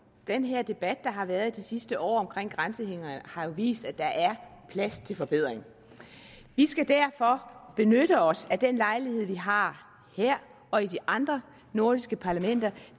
den her debat der har været de sidste år om grænsehindringer har jo vist at der er plads til forbedring vi skal derfor benytte os af den lejlighed vi har her og i de andre nordiske parlamenter